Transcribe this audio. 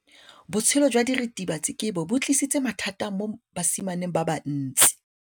Botshelo jwa diritibatsi ke bo tlisitse mathata mo basimaneng ba bantsi.